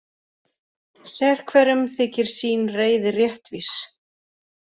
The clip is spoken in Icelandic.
Sérhverjum þykir sín reiði réttvís.